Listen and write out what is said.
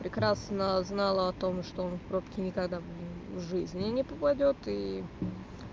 прекрасно знала о том что он в пробки никогда в жизни не попадёт и